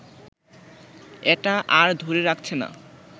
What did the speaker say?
এটা আর ধরে রাখছে না